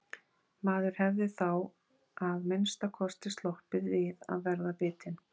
Maður hefði þá að minnsta kosti sloppið við að verða bitinn.